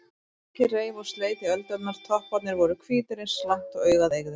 Rokið reif og sleit í öldurnar, topparnir voru hvítir eins langt og augað eygði.